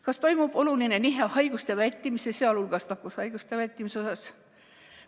Kas toimub oluline nihe haiguste vältimisel, sh nakkushaiguste vältimisel?